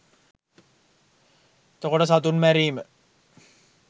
එතකොට සතුන් මැරීම